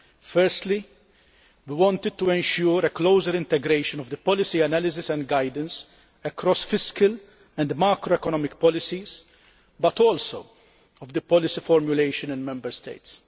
Firstly, we wanted to ensure a closer integration of the policy analysis and guidance across fiscal and macroeconomic policies but also of the policy formulation in Member States.